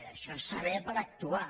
això és saber per actuar